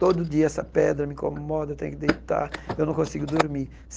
Todo dia essa pedra me incomoda, eu tenho que deitar, eu não consigo dormir.